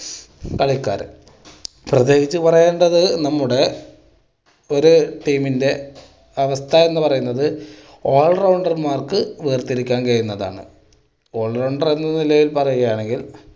കളിക്കാർ. പ്രത്യേകിച്ച് പറയേണ്ടത് നമ്മുടെ ഒരു team ൻ്റെ അവസ്ഥ എന്ന് പറയുന്നത് all rounder മാർക്ക് വേർതിരിക്കാൻ കഴിയുന്നതാണ്. all rounder എന്ന നിലയിൽ പറയുകയാണെങ്കിൽ